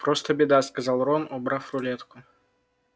просто беда сказал рон убрав рулетку